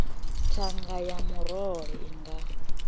thanga ya murole i nga